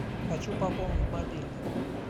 хочу пополнить мобильный